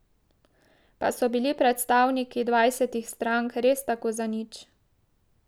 Pa so bili predstavniki dvajsetih strank res tako zanič?